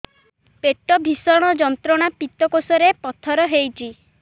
ପେଟ ଭୀଷଣ ଯନ୍ତ୍ରଣା ପିତକୋଷ ରେ ପଥର ହେଇଚି